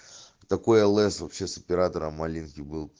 такое лс вообще с оператором алинки был